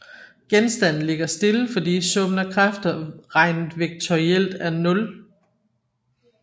Genstanden ligger stille fordi summen af kræfter regnet vektorielt er nul